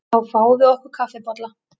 Þá fáum við okkur kaffibolla.